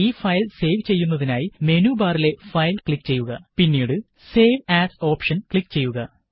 ഈ file save ചെയ്യുന്നതിനായി menu ബാറിലെ ഫയല് ക്ലിക് ചെയ്യുക പിന്നീട് സേവ് ആസ് ഓപ്ഷന് ക്ലിക്ക് ചെയ്യുക